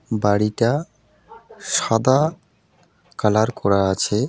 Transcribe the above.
বাড়িটা সাদা কালার করা আছে.